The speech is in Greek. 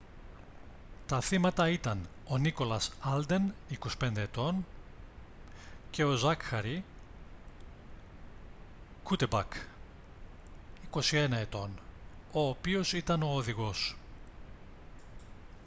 τα θύματα ήταν ο nicholas alden 25 ετών και ο zachary cuddeback 21 ετών ο οποίος ήταν ο οδηγός